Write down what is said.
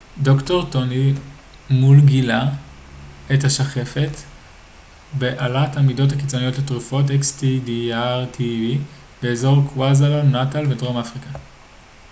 "ד""ר טוני מול גילה את השחפת בעלת העמידות הקיצונית לתרופות xdr-tb באזור קווהזולו־נאטאל בדרום אפריקה.